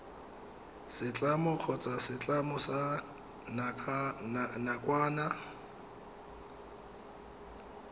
setlamo kgotsa setlamo sa nakwana